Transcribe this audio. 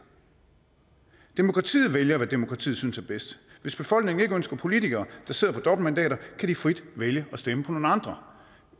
demokratiet vælger hvad demokratiet synes er bedst hvis befolkningen ikke ønsker politikere der sidder på dobbeltmandater kan de frit vælge at stemme på nogle andre